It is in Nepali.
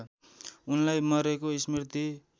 उनलाई मरेको स्मृति